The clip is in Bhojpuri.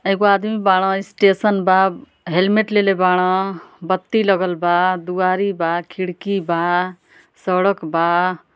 एगो आदमी बाड़न। स्टेशन बा हैलमेट लेले बाड़न। बत्ती लगल बा द्वारी बा खिड़की बा सड़क बा।